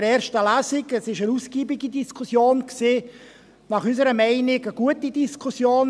Es war eine ausgiebige Diskussion, unserer Meinung nach eine gute Diskussion.